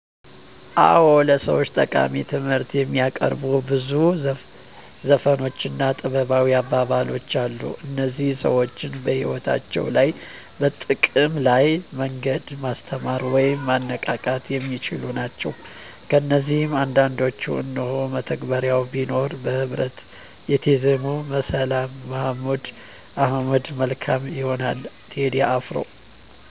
አዎ፣ ለሰዎች ጠቃሚ ትምህርት የሚያቀርቡ ብዙ ዘፈኖች እና ጥበባዊ አባባሎች አሉ። እነዚህ ሰዎችን በሕይወታቸው ላይ በጥቅም ላለ መንገድ ማስተማር ወይም ማነቃቃት የሚችሉ ናቸው። ከነዚህ አንዳንዶቹን እነሆ፦ መተባበር ቢኖር( በህብረት የተዜመ)፣ ሰላም(መሀሙድ አህመድ)፣ መልካም ይሆናል(ቴዲ አፍሮ)።